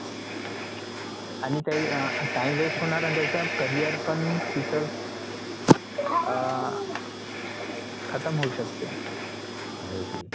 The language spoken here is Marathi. आणि त्या अं time waste होणार त्याचा carrier पण तिथंच अं खतम होऊ शकते